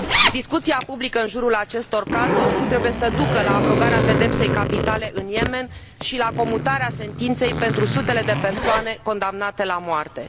Discuția publică în jurul acestor cazuri trebuie să ducă la abrogarea pedepsei capitale în Yemen și la comutarea sentinței pentru sutele de persoane condamnate la moarte.